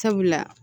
Sabula